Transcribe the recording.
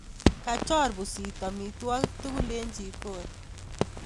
Kachor pusit amitwokik tugul eng chikoni